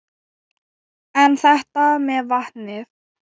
En þetta með vatnið?